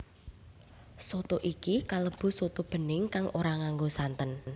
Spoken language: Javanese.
Soto iki kalebu soto bening kang ora nganggo santen